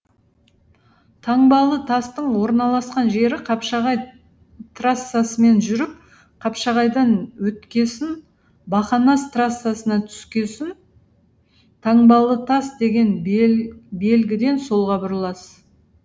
таңбалы тастың орналасқан жері қапшағай трассасымен жүріп қапшағайдан өткесін бақанас трассасына түскесін таңбалытас деген белгіден солға бұрыласыз